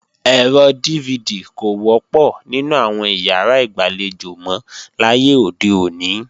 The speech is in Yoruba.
Ẹ̀rọ DVD kò wọ́pọ̀ nínú àwọn ìyàrá ìgbàlejò mọ láyé òde òní